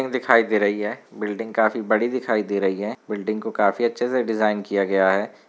Building दिखाई दे रही है बिल्डिंग काफी बड़ी दिखाई दे रही है बिल्डिंग को काफी अचे से डिजाइन किया गया है।